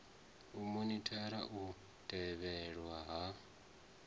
u monithara u tevhedzelwa ha